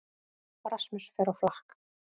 Rasmus fer á flakk